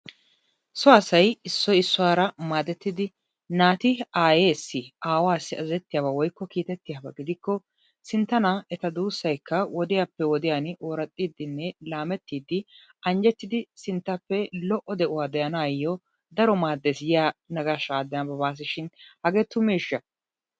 So asayi Issoyi issuwaara maadettidi naati aayeessi aawaassi azazettiyaba woykko kiitettiyaba gidikko sintta naa eta duussaykka wodiyappe wodiyan ooraxxiiddinne laamettiiddi anjjettidi sinttappe lo'o de'uwa de'anaayyo daro maaddees giya naqaashshaa nababaas shin hagee tumeeshsha?